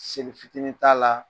Seli fitiinin t'a la,